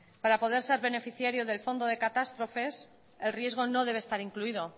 para poder ser beneficiario del fondo de catástrofes el riesgo no debe estar incluido